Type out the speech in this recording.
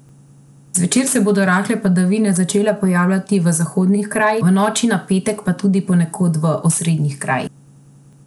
Zvečer se bodo rahle padavine začele pojavljati v zahodnih krajih, v noči na petek pa tudi ponekod v osrednjih krajih.